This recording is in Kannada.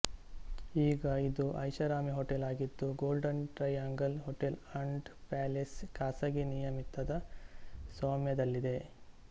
ಈಗ ಇದು ಐಶಾರಾಮಿ ಹೋಟೆಲ್ ಆಗಿದ್ದು Golden Triangle Hotel and Palace ಖಾಸಗಿ ನಿಯಮಿತದ ಸ್ವಾಮ್ಯದಲ್ಲಿದೆ